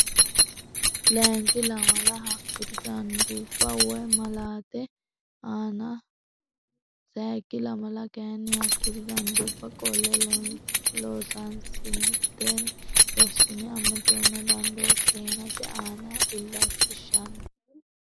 Layinki lamala hakkuri danduubba wo naalate aana sayikki lamala kayinni hakkuri danduubbanni qolle loosansiisatenna rossino amadonna dandoo keenate aana illachishshanno.